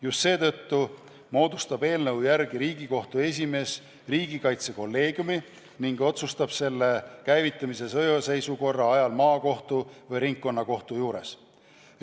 Just seetõttu moodustab eelnõu järgi Riigikohtu esimees riigikaitsekolleegiumi ning otsustab selle käivitamise sõjaseisukorra ajal maakohtu või ringkonnakohtu juures.